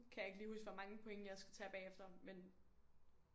Kan jeg ikke lige huske hvor mange point jeg skal tage bagefter men